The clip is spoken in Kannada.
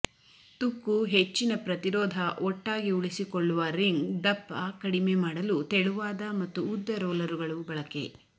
ತುಕ್ಕು ಹೆಚ್ಚಿನ ಪ್ರತಿರೋಧ ಒಟ್ಟಾಗಿ ಉಳಿಸಿಕೊಳ್ಳುವ ರಿಂಗ್ ದಪ್ಪ ಕಡಿಮೆ ಮಾಡಲು ತೆಳುವಾದ ಮತ್ತು ಉದ್ದ ರೋಲರುಗಳು ಬಳಕೆ